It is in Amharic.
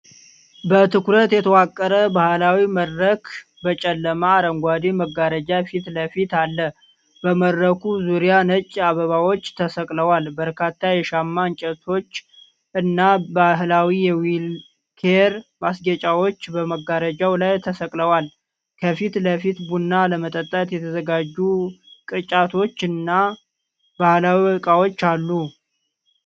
በትኩረት የተዋቀረ ባህላዊ መድረክ በጨለማ አረንጓዴ መጋረጃ ፊትለፊት አለ። በመድረኩ ዙሪያ ነጭ አበባዎች ተሰቅለው፤ በርካታ የሻማ እንጨቶች እና ባህላዊ የዊኬር ማስጌጫዎች በመጋረጃው ላይ ተሰቅለዋል። ከፊት ለፊት ቡና ለመጠጣት የተዘጋጁ ቅርጫቶችና ባህላዊ እቃዎች አሉ።